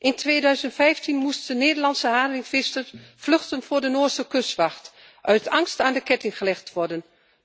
In 2015 moesten Nederlandse haringvissers vluchten voor de Noorse kustwacht uit angst aan de ketting gelegd te worden.